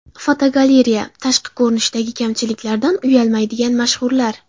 Fotogalereya: Tashqi ko‘rinishdagi kamchiliklaridan uyalmaydigan mashhurlar.